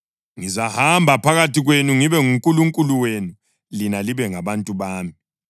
Ngizahamba phakathi kwenu, ngibe nguNkulunkulu wenu lina libe ngabantu bami.